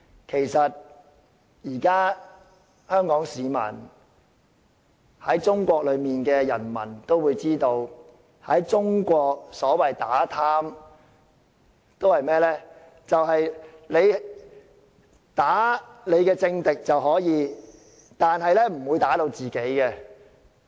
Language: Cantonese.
其實，香港市民以至在中國的人民都知道，中國所謂打貪只可以打擊政敵，不會打擊自己人。